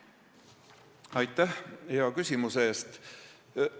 Aitäh hea küsimuse eest!